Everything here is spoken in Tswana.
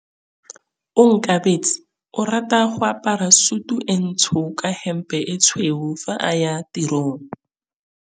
Onkabetse o rata go apara sutu e ntsho ka hempe e tshweu fa a ya tirong.